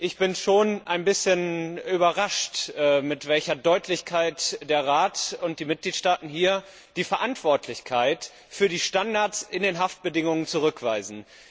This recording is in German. Ich bin schon ein bisschen überrascht, mit welcher Deutlichkeit der Rat und die Mitgliedstaaten hier die Verantwortlichkeit für die Standards bei den Haftbedingungen zurückweisen.